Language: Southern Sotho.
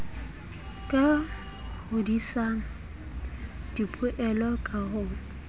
ka hodisang dipoelo ka ho